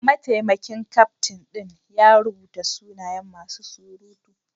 Mataimakin kyaftin din ya rubuta sunayen masu surutu.